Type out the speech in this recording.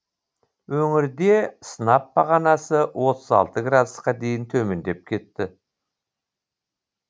өңірде сынап бағанасы отыз алты градусқа дейін төмендеп кетті